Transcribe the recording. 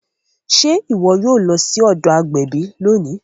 Ṣe iwọ o lọ sí ọdọ agbẹbi lóni?